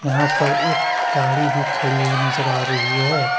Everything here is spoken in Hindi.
यहां पर एक गाड़ी भी खड़ी हुई नजर आ रही है।